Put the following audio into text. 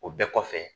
O bɛɛ kɔfɛ